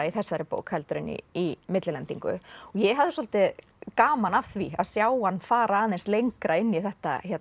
í þessari bók heldur en í í millilendingu og ég hafði svolítið gaman af því að sjá hann fara aðeins lengra inn í þetta